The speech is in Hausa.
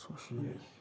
To shi ne.